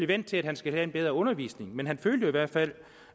vendt til at han skal have en bedre undervisning men han følte i hvert fald